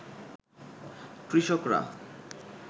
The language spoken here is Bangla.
কৃষকরা